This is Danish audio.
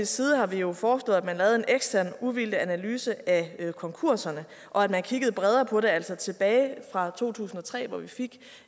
side har vi jo foreslået at man lavede en ekstern uvildig analyse af konkurserne og at man kiggede bredere på det altså tilbage fra to tusind og tre hvor vi fik